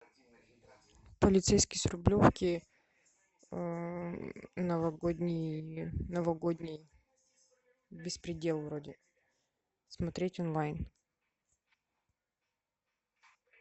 полицейский с рублевки новогодний беспредел вроде смотреть онлайн